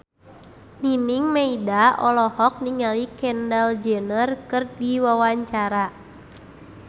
Nining Meida olohok ningali Kendall Jenner keur diwawancara